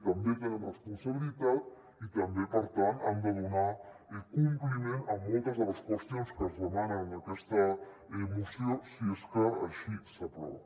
també tenen responsabilitat i també per tant han de donar compliment a moltes de les qüestions que es demanen en aquesta moció si és que així s’aprova